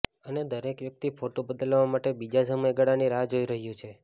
અને દરેક વ્યક્તિ ફોટો બદલવા માટે બીજા સમયગાળાની રાહ જોઈ રહ્યું છે